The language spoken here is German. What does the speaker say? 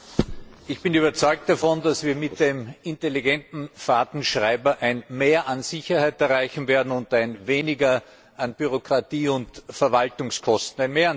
Herr Präsident! Ich bin überzeugt davon, dass wir mit dem intelligenten Fahrtenschreiber ein Mehr an Sicherheit erreichen werden und ein Weniger an Bürokratie und Verwaltungskosten.